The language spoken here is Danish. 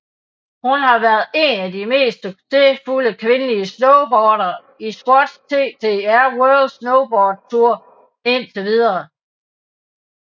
Hun har været en af de mest succesfulde kvindelige snowboardere i Swatch TTR World Snowboard Tour indtil videre